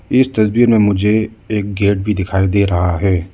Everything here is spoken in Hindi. इस तस्वीर में मुझे एक गेट भी दिखाई दे रहा है।